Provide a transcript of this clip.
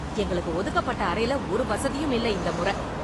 எங்களுக்கு ஒதுக்கப்பட்ட அறைல ஒரு வசதியும் இல்லை இந்த மொற.